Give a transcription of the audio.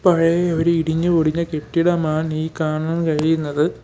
പഴയ ഒരു ഇടിഞ്ഞു പൊടിഞ്ഞ കെട്ടിടമാണ് ഈ കാണാൻ കഴിയുന്നത്.